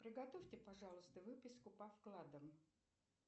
приготовьте пожалуйста выписку по вкладам